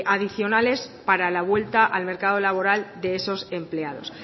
adicionales para la vuelta al mercado laboral de esos empleados